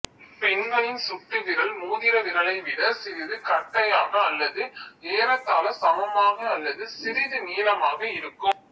பெண்களில் சுட்டு விரல் மோதிரவிரலை விடச் சிறிது கட்டையாக அல்லது ஏறத்தாள சமமாக அல்லது சிறிது நீளமாக இருக்கும்